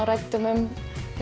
ræddum